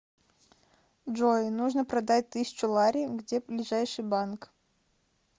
джой нужно продать тысячу лари где ближайший банк